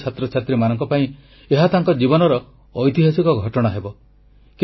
ଏହି ବିଜୟୀ ଛାତ୍ରଛାତ୍ରୀମାନଙ୍କ ପାଇଁ ଏହା ତାଙ୍କ ଜୀବନର ଐତିହାସିକ ଘଟଣା ହେବ